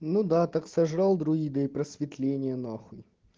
ну да так сожрал друида и просветление нахуй